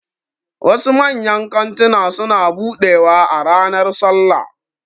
Wasu manyan kantuna suna buɗewa a ranar sallah